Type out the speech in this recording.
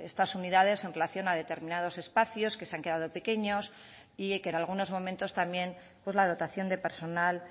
estas unidades en relación a determinados espacios que se han quedado pequeños y que en algunos momentos también pues la dotación de personal